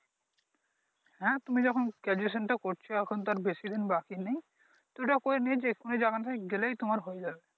হ্যাঁ তুমি যখন Graduation টা করছো এখন তো আর বেশি দিন বাকি নেই গেলেই তোমার হয়ে যাবে।